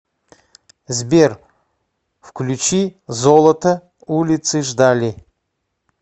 сбер включи золото улицы ждали